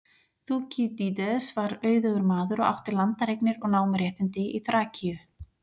Þúkýdídes var auðugur maður og átti landareignir og námuréttindi í Þrakíu.